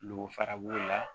N'o fara b'o la